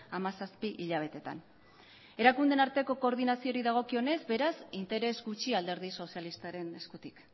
hamazazpi hilabeteetan erakundeen arteko koordinazioari dagokionez beraz interes gutxi alderdi sozialistaren eskutik